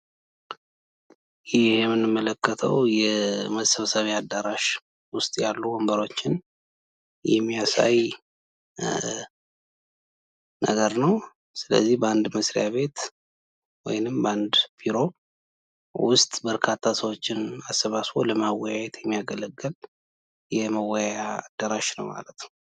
ይህ የምንመለከተው የመሰብሰቢያ አዳራሽ ያሉ ወንብሮችን የሚያሳይን ነገር ነው። ስለዚህ በአንድ መስሪያ ቤት ወይንም በአንድ ቢሮ ውስጥ በርካታ ሰውችን አሰባስቦ ለማወያየት የሚያገለግል የመወያያ አዳራሽ ነው ማለት ነው።